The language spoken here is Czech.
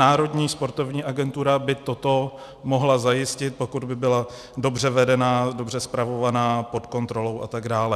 Národní sportovní agentura by toto mohla zajistit, pokud by byla dobře vedená, dobře spravovaná, pod kontrolou a tak dále.